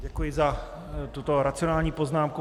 Děkuji za tuto racionální poznámku.